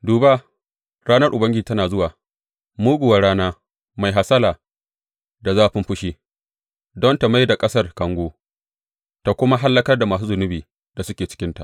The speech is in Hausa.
Duba, ranar Ubangiji tana zuwa, muguwar rana, mai hasala da zafin fushi, don ta mai da ƙasar kango ta kuma hallakar da masu zunubi da suke cikinta.